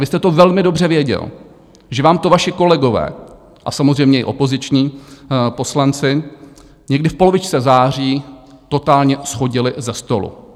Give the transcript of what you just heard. Vy jste to velmi dobře věděl, že vám to vaši kolegové a samozřejmě i opoziční poslanci někdy v polovičce září totálně shodili ze stolu.